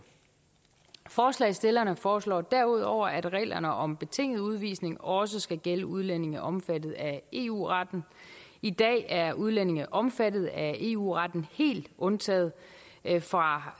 forslagsstillerne foreslår derudover at reglerne om betinget udvisning også skal gælde udlændinge omfattet af eu retten i dag er udlændinge omfattet af eu retten helt undtaget fra